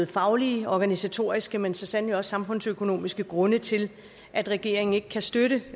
faglige og organisatoriske men så sandelig også samfundsøkonomiske grunde til at regeringen ikke kan støtte